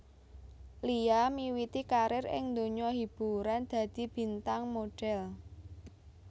Lia miwiti karir ing donya hiburan dadi bintang modhèl